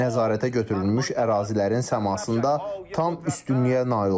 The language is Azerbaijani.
Nəzarətə götürülmüş ərazilərin səmasında tam üstünlüyə nail olmuşuq.